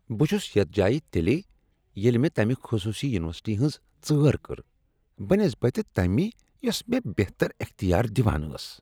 بہ چھُس یتھ جایہ تیلی ییٚلہ مےٚ تمہِ خصوصی یونورسٹی ہنز ژٲر کٔر بہ نسبت تمہِ یۄسہٕ مے٘ بہتر اختیار دِوان ٲس۔